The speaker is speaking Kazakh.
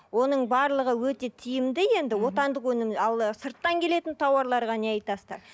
оның барлығы өте тиімді енді отандық өнім ал сырттан келетін тауарларға не айтасыздар